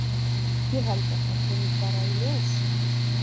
Ég held að það komi bara í ljós.